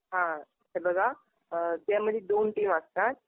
हा. हे बघा. त्यामध्ये दोन टीम असतात.